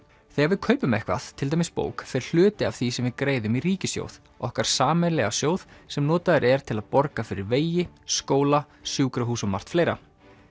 þegar við kaupum eitthvað til dæmis bók fer hluti af því sem við greiðum í ríkissjóð okkar sameiginlega sjóð sem notaður er til að borga fyrir vegi skóla sjúkrahús og margt fleira